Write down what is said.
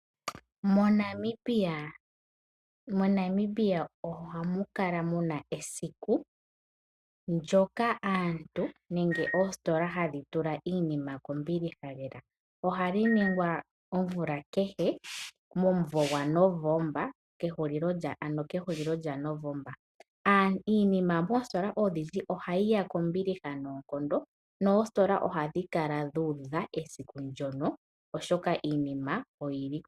MoNamibia ohamu kala mu na esiku ndyoka aantu nenge oositola hadhi tula iinima kombiliha lela. Ohali ningwa omvula kehe momwedhi gwaNovomba ano kehulilo lyaNovomba. Iinima moositola odhindji ohayi ya kombiliha noonkondo noositola ohadhi kala dhu udha esiku ndyono, oshoka iinima oyi li kombiliha.